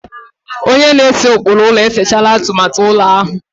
Onye na-ese ụkpụrụ ụlọ e sechaala atụmatụ ụlọ ahụ.